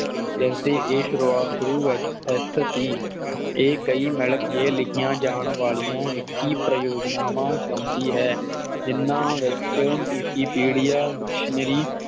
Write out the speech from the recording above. ਜਦ ਇਹ ਏਸ਼ਰੂ ਵਿਚ ਸਥਿਤ ਸੀ ਇਹ ਕਈ ਮਿਲ ਕੇ ਲਿਖੀਆਂ ਜਾਣ ਵਾਲੀਆਂ ਵਿਕੀ ਪ੍ਰਯੁਜਨਾਵਾ ਵਿਚ ਆਉਂਦੀ ਹੈ ਜਿਨ੍ਹਾਂ ਵਿਚ Vikipedia Dictionary